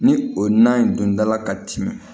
Ni o na in dun dala ka timin